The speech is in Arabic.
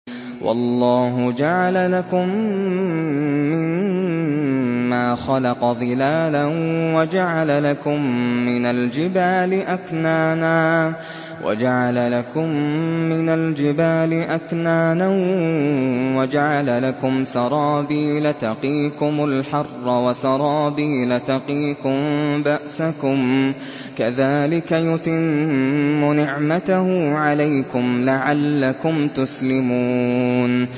وَاللَّهُ جَعَلَ لَكُم مِّمَّا خَلَقَ ظِلَالًا وَجَعَلَ لَكُم مِّنَ الْجِبَالِ أَكْنَانًا وَجَعَلَ لَكُمْ سَرَابِيلَ تَقِيكُمُ الْحَرَّ وَسَرَابِيلَ تَقِيكُم بَأْسَكُمْ ۚ كَذَٰلِكَ يُتِمُّ نِعْمَتَهُ عَلَيْكُمْ لَعَلَّكُمْ تُسْلِمُونَ